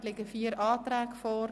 Dort liegen vier Anträge vor.